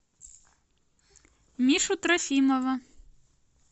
мишу трофимова